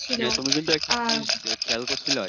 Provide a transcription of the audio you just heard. তুমি কিন্তু জিনিস খেয়াল করছিলা যে